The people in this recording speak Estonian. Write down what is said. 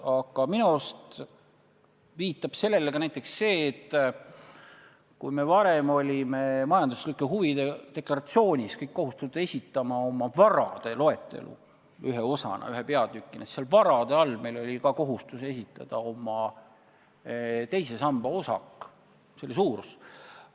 Aga minu arust viitab sellele ka näiteks see, et kui me varem olime majanduslike huvide deklaratsioonis kohustatud esitama oma varade loetelu, siis seal varade peatüki all oli meil kohustus esitada ka oma teise samba osaku suurus.